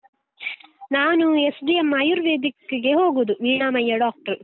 ನಾನು SDM ಆಯುರ್ವೇದಿಕ್ಕಿಗೆ ಹೋಗುದು ವೀಣಾಮಯ್ಯ doctor .